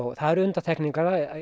það eru undantekningar